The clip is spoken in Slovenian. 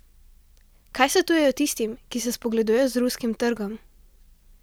Kaj svetujejo tistim, ki se spogledujejo z ruskim trgom?